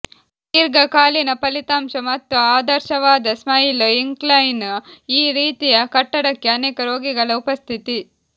ದೀರ್ಘಕಾಲೀನ ಫಲಿತಾಂಶ ಮತ್ತು ಆದರ್ಶವಾದ ಸ್ಮೈಲ್ ಇಂಕ್ಲೈನ್ ಈ ರೀತಿಯ ಕಟ್ಟಡಕ್ಕೆ ಅನೇಕ ರೋಗಿಗಳ ಉಪಸ್ಥಿತಿ